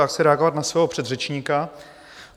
Já chci reagovat na svého předřečníka.